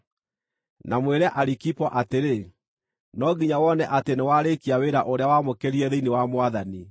Na mwĩre Arikipo atĩrĩ: “No nginya wone atĩ nĩwarĩĩkia wĩra ũrĩa wamũkĩrire thĩinĩ wa Mwathani.”